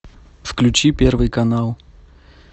включи первый канал